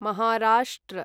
Maharashtra